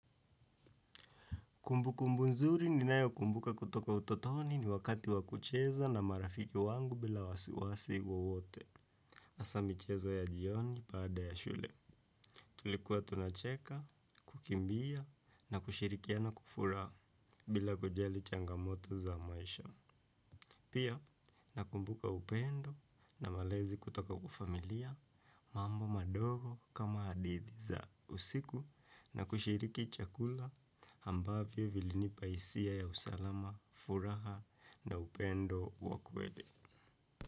Kumbu kumbu nzuri ninayo kumbuka kutoka utotoni ni wakati wakucheza na marafiki wangu bila wasiwasi wowote. Hasa michezo ya jioni baada ya shule. Tulikuwa tunacheka, kukimbia na kushirikiana kwa kufuraha bila kujali changamoto za maisha. Pia, nakumbuka upendo na malezi kutoka kwa familia mambo madogo kama hadithi za usiku na kushiriki chakula ambavyo vilinipa hisia ya usalama, furaha na upendo wa kweli.